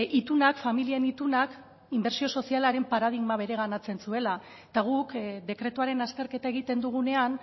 itunak familien itunak inbertsio sozialaren paradigma bereganatzen zuela eta guk dekretuaren azterketa egiten dugunean